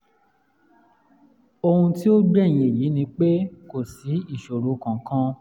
ohun tí ó gbẹ̀yìn èyí ni pé kò sí ìṣòro kankan